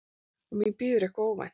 Og mín bíður eitthvað óvænt.